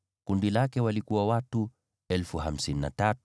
Kundi lake lina watu 53,400.